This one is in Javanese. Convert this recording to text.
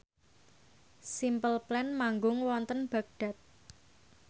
Simple Plan manggung wonten Baghdad